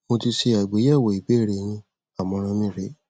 mo ti ṣe àgbéyẹwò ìbéèrè yin àmọràn mi rè é